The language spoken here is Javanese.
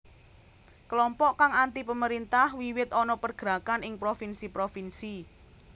Kelompok kang antipemerintah wiwit ana pergerakan ing provinsi provinsi